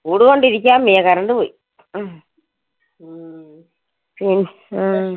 ചൂട് കൊണ്ട് ഇരിക്കാൻ വയ്യ. current പോയി. ഹും ഉം ഹാ